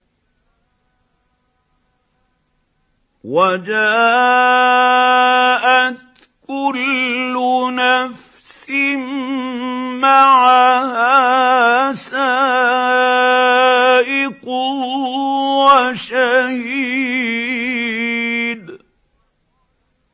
وَجَاءَتْ كُلُّ نَفْسٍ مَّعَهَا سَائِقٌ وَشَهِيدٌ